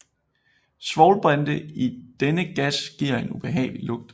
Svovlbrinte i denne gas giver en ubehagelig lugt